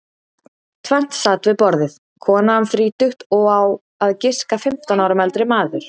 Tvennt sat við borðið, kona um þrítugt og á að giska fimmtán árum eldri maður.